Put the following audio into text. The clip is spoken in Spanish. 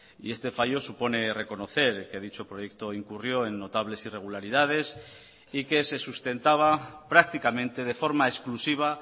y este fallo supone reconocer que dicho proyecto incurrió en notables irregularidades y que se sustentaba prácticamente de forma exclusiva